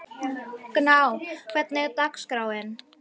Gná, hvernig er dagskráin?